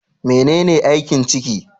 Menene aikin ciki?